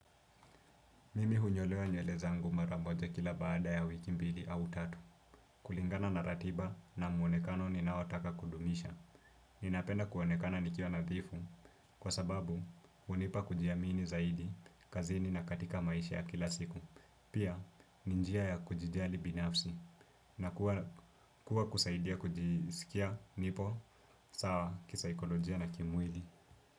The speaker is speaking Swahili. Mimi hunyolewa nywele zangu mara moja kila baada ya wiki mbili au tatu. Kulingana na ratiba na muonekano ninaotaka kudumisha. Ninapenda kuonekana nikiwa nadhifu kwa sababu hunipa kujiamini zaidi kazini na katika maisha ya kila siku. Pia ni njia ya kujijali binafsi na kuwa kuwa kusaidia kujisikia nipo sawa kisaikolojia na kimwili.